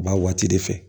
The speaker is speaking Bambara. Ba waati de fɛ